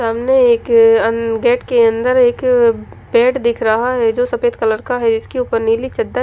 सामने एक अन गेट के अन्दर एक पेट दिख रहा है जो सफेद कलर का है इसके उपर नीली चद्दर--